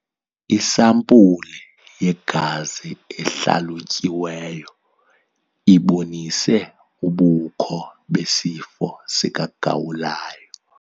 Isampulu yegazi ehlalutyiweyo ibonise ubukho besifo sikagawulayo.